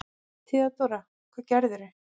THEODÓRA: Hvað gerðirðu?